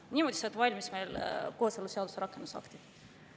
Niimoodi said valmis kooseluseaduse rakendusaktid.